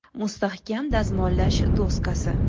Mustahkam dazmollash doskasi?